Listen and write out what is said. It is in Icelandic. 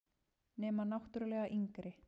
Nema náttúrlega yngri.